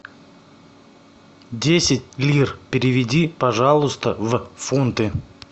десять лир переведи пожалуйста в фунты